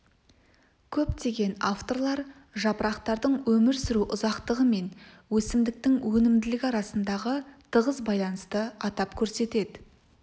көптеген авторлар жапырақтардың өмір сүру ұзақтығы мен өсімдіктің өнімділігі арасындағы тығыз байланысты атап көрсетеді